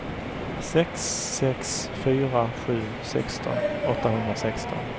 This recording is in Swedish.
sex sex fyra sju sexton åttahundrasexton